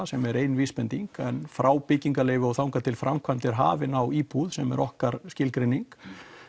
sem er ein vísbending en frá byggingarleyfi og þangað til framkvæmd er hafin á íbúð sem er okkar skilgreining